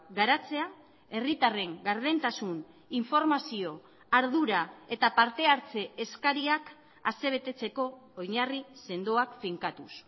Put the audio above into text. garatzea herritarren gardentasun informazio ardura eta parte hartze eskariak asebetetzeko oinarri sendoak finkatuz